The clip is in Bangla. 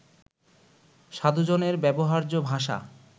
সাধুজনের ব্যবহার্য ভাষা